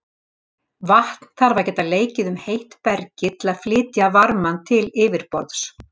Vatn þarf að geta leikið um heitt bergið til að flytja varmann til yfirborðs.